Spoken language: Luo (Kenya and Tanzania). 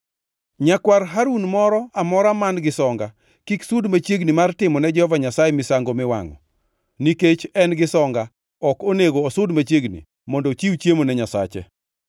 Nyakwar Harun moro amora man-gi songa kik sud machiegni mar timo ne Jehova Nyasaye misango miwangʼo. Nikech en gi songa ok onego osud machiegni mondo ochiw chiemo ne Nyasache.